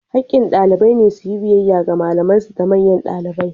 Hakkin ɗalibai ne su yi biyayya ga malaman su da manyan ɗalibai.